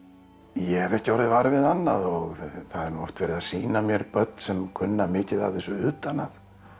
ég hef ekki orðið var við annað og það er nú oft verið að sýna mér börn sem kunna mikið af þessu utan að